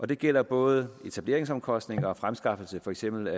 det gælder både etableringsomkostninger og fremskaffelse af for eksempel